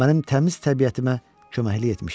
Mənim təmiz təbiətimə köməklik etmişdi.